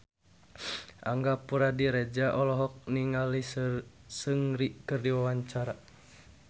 Angga Puradiredja olohok ningali Seungri keur diwawancara